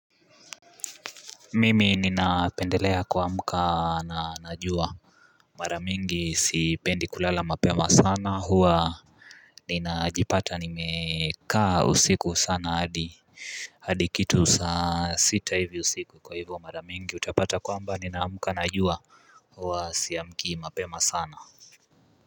Mimi ninapendelea ku amkana na na jua. Maramingi sipendi kulala mapema sana huwa ninajipata nimekaa usiku sana hadi hadi kitu saa sita hivi usiku kwa hivyo mara mingi utapata kwamba ninaamka najua huwa siamki mapema sana.